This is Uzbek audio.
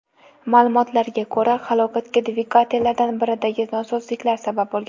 Ma’lumotlarga ko‘ra, halokatga dvigatellardan biridagi nosozliklar sabab bo‘lgan.